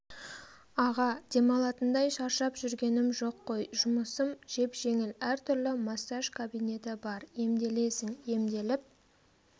аға демалатындай шаршап жүргенім жоқ қой жұмысым жеп-жеңіл әртүрлі массаж кабинеті бар емделесің емделіп